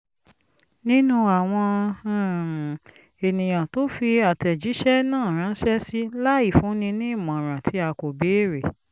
nínú àwọn um ènìyàn tó fi àtẹ̀jíṣẹ́ náà ránṣẹ́ sí láì fúnni ní ìmọ̀ràn tí a kò béèrè